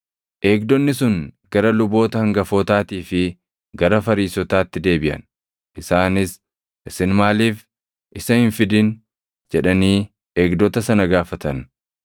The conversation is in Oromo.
Eegdonni sun gara luboota hangafootaatii fi gara Fariisotaatti deebiʼan; isaanis, “Isin maaliif isa hin fidin?” jedhanii eegdota sana gaafatan.